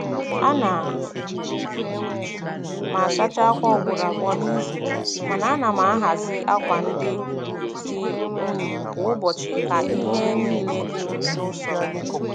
A na m asacha akwa ugboro abụọ n'izu, mana a na m ahazi akwa ndị dị unyi kwa ụbọchị ka ihe niile dị n'usoro.